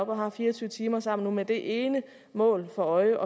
og har fire og tyve timer sammen med det ene mål for øje